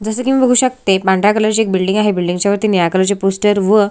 जस कि मी बघू शकते एक पांढऱ्या कलर ची एक बिल्डिंग आहे बिल्डिंग च्या वरती निळ्या कलर चे पोस्टर व--